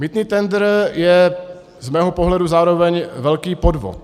Mýtný tendr je z mého pohledu zároveň velký podvod.